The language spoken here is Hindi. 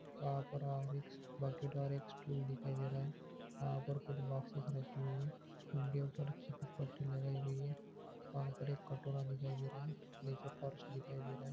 वहां पर और एक बाकेट और एक स्टूल दिखाई दे रहा है। वहां पर कुछ बॉक्सेस रखी हुई हैं उनके ऊपर लगाई गई है। वहां पर एक कटोरा दिखाई दे रहा है नीचे फर्श दिखाई दे रहा है।